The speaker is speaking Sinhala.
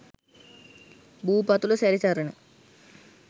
භූ පතුල සැරි සරන